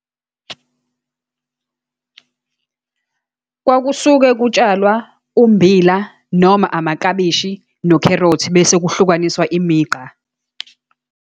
Kwakusuke kutshalwa ummbila, noma amaklabishi, nokherothi, bese kuhlukaniswa imigqa.